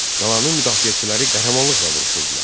Qalanın müdafiəçiləri qəhrəmanlıqla vuruşurdular.